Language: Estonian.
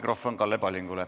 Mikrofon Kalle Pallingule.